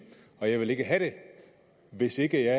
og jeg vil ikke have det hvis ikke